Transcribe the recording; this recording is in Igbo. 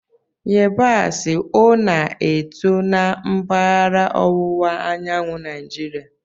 Yabasị, o na-eto na mpaghara ọwụwa anyanwụ Naijiria?